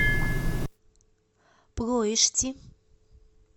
плоешти